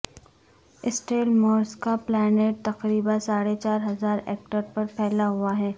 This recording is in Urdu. سٹیل ملز کا پلانٹ تقریبا ساڑھے چار ہزار ایکڑ پر پھیلا ہوا ہے